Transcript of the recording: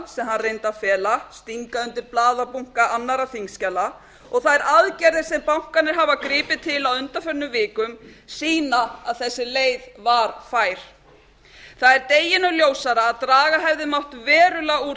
sem hann reyndi að fela stinga undir blaðabunka annarra þingskjala og þær aðgerðir sem bankarnir hafa gripið til á undanförnum vikum sýna að þessi leið var fær það er deginum ljósara að draga hefði mátt verulega úr